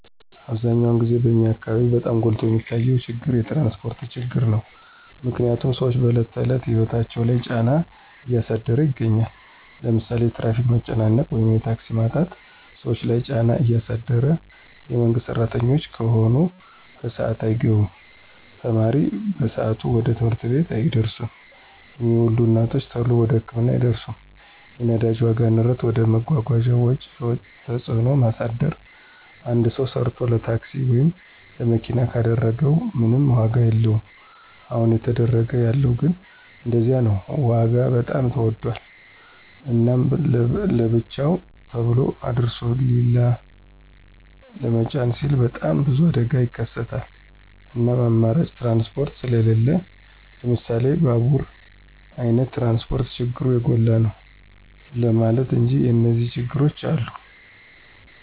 አብዛኛውን ግዜ በኛ አካበቢ በጣም ጎልቶ የሚታየው ችግር የትራንስፖርት ችግር ነው። ምክንያትም ስዎች በዕለት ተዕለት ህይወታቸው ላይ ጫና እያሳደረ ይገኛል። ለምሳሌ የትራፊክ መጨናነቅ ወይም የታክሲ ማጣት ሰዎች ለይ ጫና ያሳድር የመንግስት ስራተኞች ከሆኑ በስአታቸው አይገቡም፣ ተማሪ በሰአቱ ወደ ትምህርት ቤት አይደርስም፣ የሚወልዱ እናቶች ተሎ ወደ ህክምና አይደርሱም። የነዳጅ ዋጋ ንረት ወደ መጓጓዣ ወጪ ተጽዕኖ ማሳደር አንድ ሰው ሰርቶ ለታክሲ ወይም ለመኪና ካደረገው ምንም ዋጋ የለወም አሁን እየተደረገ ያለው ግን እንደዚያ ነው ዋጋ በጣም ተወዶል። እናም ለብርቸው ተሎ አድርሶ ሊላ ለመጫን ሲሉ በጣም ብዙ አደጋ ይከሰታል እናም አማራጭ ትራንስፖርት ስሊለን ለምሳሌ ባቡራ አይነት ትራንስፖርት ችግሩ የጎላ ነው ለማለት እንጂ የኒዚያ ችግሮችም አሉ።